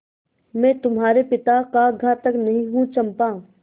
मैं तुम्हारे पिता का घातक नहीं हूँ चंपा